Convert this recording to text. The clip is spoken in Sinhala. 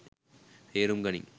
තේරුම් ගනින්.